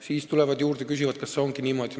Siis nad tulevad juurde ja küsivad, kas ongi niimoodi.